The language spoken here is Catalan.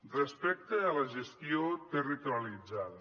respecte a la gestió territorialitzada